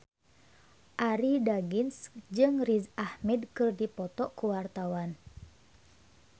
Arie Daginks jeung Riz Ahmed keur dipoto ku wartawan